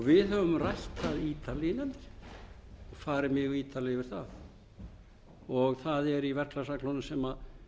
við höfum rætt það xxxxx farið mjög ítarlega yfir það það er í verklagsreglunum sem